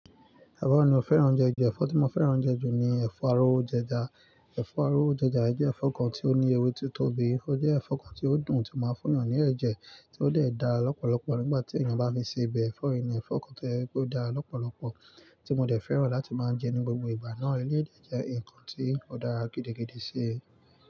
Ẹ̀fọ́ wo ni mo fẹ́ràn jẹ jù, ẹ̀fọ́ tí mo fẹ́ràn jẹ jù ni ẹ̀fọ́ arówójẹja. Ẹ̀fọ́ arówó jẹja jẹ́ ẹ̀fọ́ kan tí ó ní ewé tí ó tóbi, ó jẹ́ ẹ̀fọ́ kan tí ó dùn tí ó máa ń fún'yàn ní ẹ̀jẹ̀ tí ó dẹ̀ dá lọ́pọ̀lọpọ̀ nígbà tí ènìyàn bá fi sebẹ̀. Ẹ̀fọ́ yìí ni ẹ̀fọ́ kan tó jẹ́ pé ó dáa lọ́pọ̀lọpọ̀ tí mo dẹ̀ fẹ́ràn láti máa ń jẹ ní gbogbo ìgbà náà. Eléyìí dẹ̀ jẹ́ nǹkan tí ó dára gidigidi sí i.